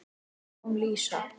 Þannig kom Lísa.